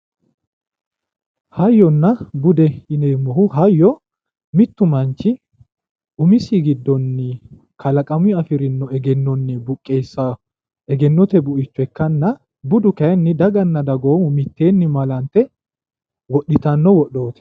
Hayyonna bude yinneemmohu ,hayyo mittu manchi umisi giddoni kalaqamunni afirino egennoni buqessanotta egennote buicho ikkanna ,budu kayinni daganna dagoomu mitteenni malante wodhitanno wodhooti.